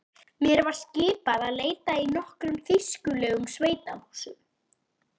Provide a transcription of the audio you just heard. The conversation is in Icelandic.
Mér var skipað að leita í nokkrum þýskulegum sveitahúsum.